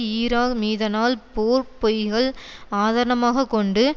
Iraq மீதனால் போர் பொய்கள் ஆதனமாகக் கொண்டு